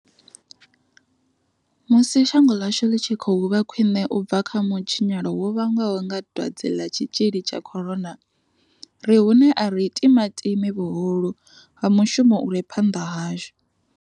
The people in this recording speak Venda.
Musi shango ḽashu ḽi tshi khou vha khwiṋe u bva kha mutshinyalo wo vhangwaho nga dwadze ḽa tshitzhili tsha corona, ri hune a ri timatimi vhuhulu ha mushumo u re phanḓa hashu.